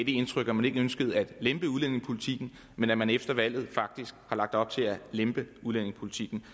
indtryk at man ikke ønskede at lempe udlændingepolitikken men at man efter valget faktisk har lagt op til at lempe udlændingepolitikken